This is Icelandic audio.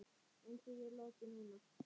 En því er lokið núna.